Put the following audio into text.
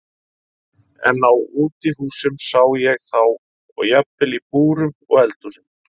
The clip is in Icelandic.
En á útihúsum sá ég þá og jafnvel í búrum og eldhúsum.